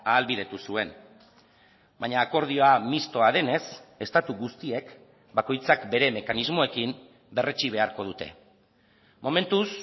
ahalbidetu zuen baina akordioa mistoa denez estatu guztiek bakoitzak bere mekanismoekin berretsi beharko dute momentuz